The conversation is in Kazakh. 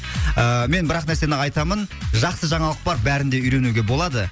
ыыы мен бірақ нәрсені айтамын жақсы жаңалық бар бәрінде үйренуге болады